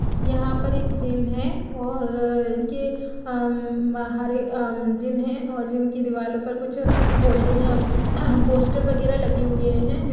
यहां पर एक जिम है और इनके ममम जिम है और जीम की दीवालों पे ये बाहर ममम कुछ होल्डिंग पोस्टर वगैरह लगे हुएँ है।